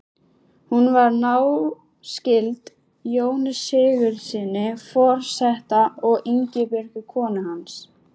Hún var náskyld Jóni Sigurðssyni forseta og Ingibjörgu konu hans.